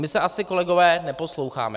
My se asi, kolegové, neposloucháme.